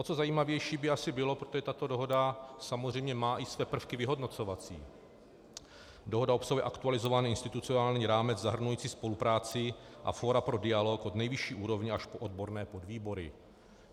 O to zajímavější by asi bylo, protože tato dohoda samozřejmě má i své prvky vyhodnocovací - dohoda obsahuje aktualizovaný institucionální rámec zahrnující spolupráci a fórum pro dialog od nejvyšší úrovně až po odborné podvýbory.